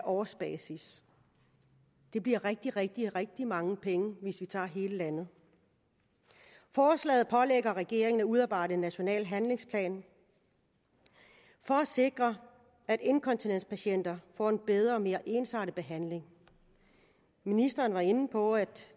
årsbasis det bliver rigtig rigtig rigtig mange penge hvis vi tager hele landet forslaget pålægger regeringen at udarbejde en national handlingsplan for at sikre at inkontinenspatienter får en bedre og mere ensartet behandling ministeren var inde på at